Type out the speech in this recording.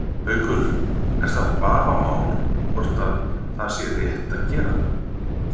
Haukur: Er það vafamál hvort að það sé rétt að gera það?